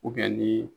ni